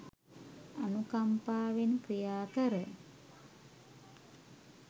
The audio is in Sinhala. අනුකම්පාවෙන් ක්‍රියාකර